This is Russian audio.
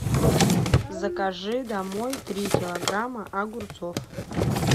закажи домой три килограмма огурцов